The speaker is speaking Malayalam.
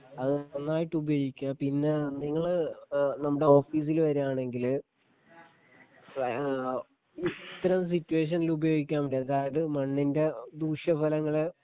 അത് നന്നായിട്ട് ഉപയോഗിക്കുക പിന്നെ നിങ്ങള് ഏഹ് നമ്മടെ ഓഫീസില് വരുവാണെങ്കില് ഏഹ് ഇത്തരം സിറ്റുവേഷനില് ഉപയോഗിക്കേണ്ട അതായത് മണ്ണിൻ്റെ ദൂഷ്യഫലങ്ങള്